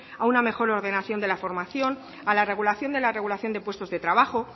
a una mejor ordenación de la formación a la regulación de la regulación de puestos de trabajo